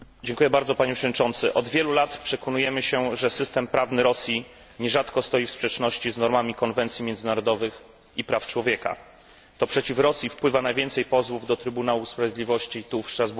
Panie Przewodniczący! Od wielu lat przekonujemy się, że system prawny Rosji nierzadko stoi w sprzeczności z normami konwencji międzynarodowych i praw człowieka. To przeciw Rosji wpływa najwięcej pozwów do Trybunału Sprawiedliwości tu, w Strasburgu.